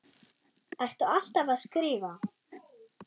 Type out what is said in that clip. Ertu alltaf að skrifa?